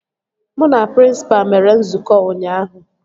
Mụ na prịnsịpa mere nzukọ ụnyaahụ